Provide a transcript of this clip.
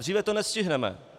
Dříve to nestihneme.